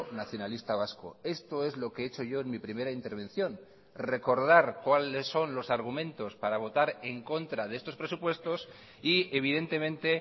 nacionalista vasco esto es lo que he hecho yo en mi primera intervención recordar cuáles son los argumentos para votar en contra de estos presupuestos y evidentemente